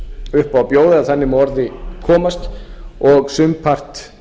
upp á bjóða ef þannig má að orði komast og sumpart